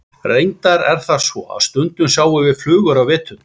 Reyndar er það svo að stundum sjáum við flugur á veturna.